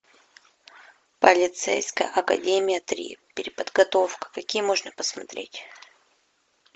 полицейская академия три переподготовка какие можно посмотреть